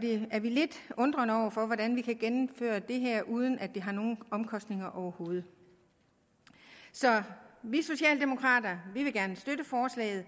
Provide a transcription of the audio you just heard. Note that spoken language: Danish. vi er lidt undrende over for hvordan vi kan gennemføre det her uden at det har nogle omkostninger overhovedet så vi socialdemokrater vil gerne støtte forslaget